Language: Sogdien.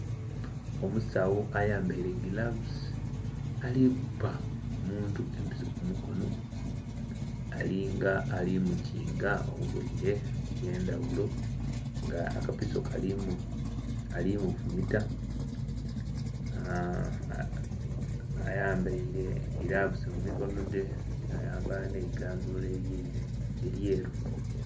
Omusawo ayambaire giravusi ali kubba omuntu episo kumukono ali nga ali mukinga obulwaire obwendhaghulo nga akapiso kalimufumita aa.. ayambeire giravusi mumikono dhe yayambala n'egandula eryeru.